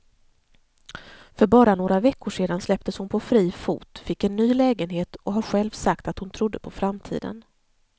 För bara några veckor sedan släpptes hon på fri fot, fick en ny lägenhet och har själv sagt att hon trodde på framtiden.